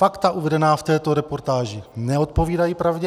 Fakta uvedená v této reportáži neodpovídají pravdě.